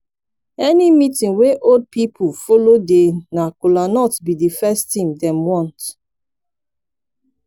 any meetin wey old old pipo follow dey na kolanut bi di first tin dem want